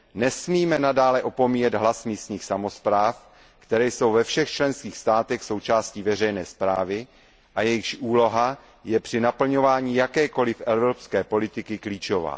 nesmíme nadále opomíjet hlas místních samospráv, které jsou ve všech členských státech součástí veřejné správy a jejichž úloha je při naplňování jakékoli evropské politiky klíčová.